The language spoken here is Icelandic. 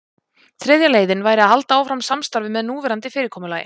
þriðja leiðin væri að halda áfram samstarfi með núverandi fyrirkomulagi